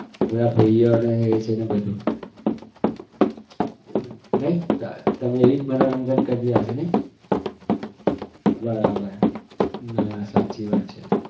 બધા ભાઈઓ અને એ જ છે ને બધું નહિ તાર તમે એવી જ મનોરંજન કરી રહ્યા હશો નહિ બરાબર ના સાચી વાત છે